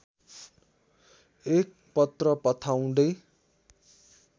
एक पत्र पठाउँदै